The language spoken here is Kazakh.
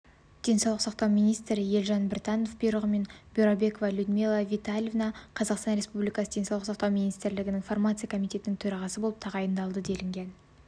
денсаулық сақтау министрі елжан біртановтың бұйрығымен бюрабекова людмила витальевна қазақстан республикасы денсаулық сақатау министрлігі фармация комитетінің төрағасы болып тағайындалды делінген